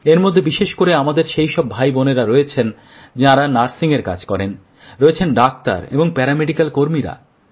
এর মধ্যে বিশেষ করে আমাদের সেই সব ভাইবোনেরা রয়েছেন যাঁরা নার্সিংয়ের কাজ করেন রয়েছেন ডাক্তার এবং প্যারামেডিকেল কর্মীরা